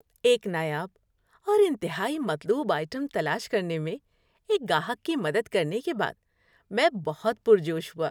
ایک نایاب اور انتہائی مطلوب آئٹم تلاش کرنے میں ایک گاہک کی مدد کرنے کے بعد میں بہت پرجوش ہوا۔